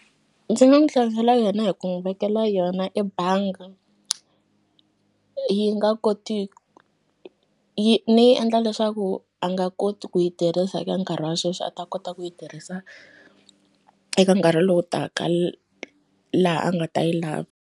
Ndzi nga n'wu yona hi ku n'wi vekela yona ebanga yi nga koti yi ni yi endla leswaku a nga koti ku yi tirhisa eka nkarhi wa sweswi a ta kota ku yi tirhisa eka nkarhi lowu taka laha a nga ta yi lavi.